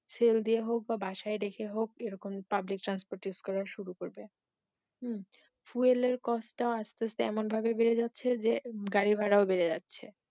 sell দিয়ে হোক বা বাসায় রেখে হোক এরকম public transport use করা শুরু করবে হম fuel এর cost টা আস্তে আস্তে এমনভাবে বেড়ে যাচ্ছে যে গাড়ি ভাড়াও বেড়ে যাচ্ছে